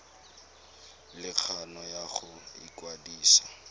le kgano ya go ikwadisa